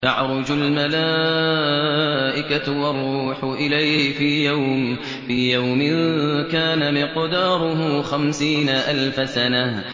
تَعْرُجُ الْمَلَائِكَةُ وَالرُّوحُ إِلَيْهِ فِي يَوْمٍ كَانَ مِقْدَارُهُ خَمْسِينَ أَلْفَ سَنَةٍ